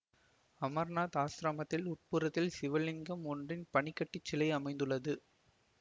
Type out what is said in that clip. அமர்நாத் ஆசிரமத்தின் உட்புறத்தில் சிவலிங்கம் ஒன்றின் பனிக்கட்டிச் சிலை அமைந்துள்ளது